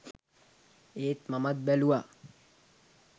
ඒත් මමත් බැලුවා